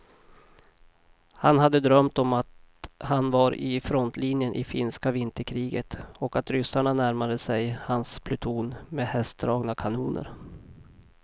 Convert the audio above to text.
Han hade drömt om att han var i frontlinjen i finska vinterkriget och att ryssarna närmade sig hans pluton med hästdragna kanoner.